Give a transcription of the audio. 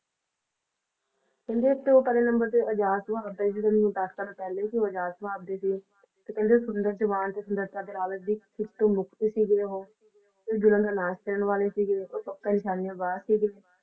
ਕਹਿੰਦੇ ਸਭਤੋਂ ਪਹਿਲੇ Number ਆਜ਼ਾਦ ਭਾਰਤ ਦੇ ਜਿਹੜੇ ਦੱਸ ਸਾਲ ਪਹਿਲਾਂ ਸੀ ਉਹ ਆਜ਼ਾਦ ਵਾਸ ਦੇ ਸੀ ਤੇ ਕਹਿੰਦੇ ਸੁੰਦਰ ਜਵਾਨ ਤੇ ਸੁੰਦਰਤਾਂ ਦੇ ਰਾਵਤ ਦੀ ਕਿਤੋਂ ਮੁਕਤ ਸੀਗੇ ਉਹ ਤੇ ਬੁਰਿਆਂ ਦਾ ਨਾਸ਼ ਕਰਨ ਵਾਲੇ ਸੀਗੇ ਉਹ ਪੱਕੇ ਨਿਸ਼ਾਨੇਬਾਜ ਸੀਗੇ